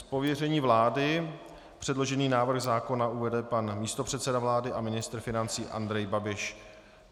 Z pověření vlády předložený návrh zákona uvede pan místopředseda vlády a ministr financí Andrej Babiš.